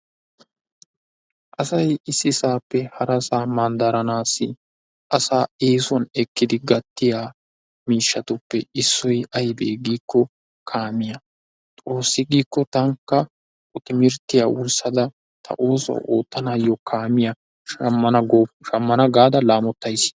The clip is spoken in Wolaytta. Asay ississaappe harassaa manddaranaassi asaa eesuwan ekkidi gatiyaa miishshatuppe issoy aybee giikko kaamiyaa xoossi giikko taanikka ha timirttiya wurssada ta oosuwa oottanaayyo kaamiya Shammana gaada laammottays.